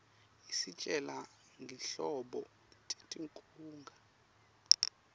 isitjela ngetinhlobo tetinkhunga